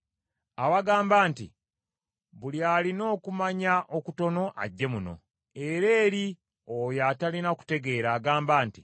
Abagamba nti, “Buli alina okumanya okutono ajje muno.” Era eri oyo atalina kutegeera agamba nti,